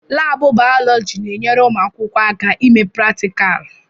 Laabụ bayọlọji na-enyere ụmụ akwụkwọ aka ime pratikalụ.